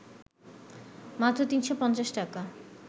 মাত্র ৩৫০ টাকা